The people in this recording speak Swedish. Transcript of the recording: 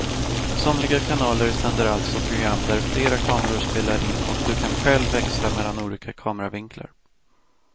Somliga kanaler sänder alltså program där flera kameror spelar in och du kan själv växla mellan olika kameravinklar.